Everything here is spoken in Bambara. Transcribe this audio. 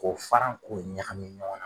K'o fara k'o ɲagami ɲɔgɔn na.